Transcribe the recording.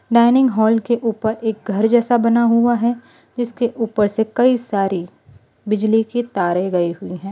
Dining hall के ऊपर एक घर जैसा बना हुआ है जिसके ऊपर से कई सारी बिजली की तारें गई हुई हैं।